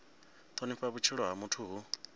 thonifha vhutshilo ha muthu hu